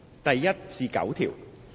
第1至9條。